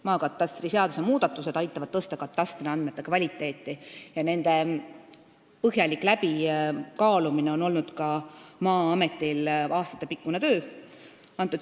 Maakatastriseaduse muudatused aitavad parandada katastriandmete kvaliteeti ja nende põhjalik läbikaalumine on olnud ka Maa-ameti aastatepikkune töö.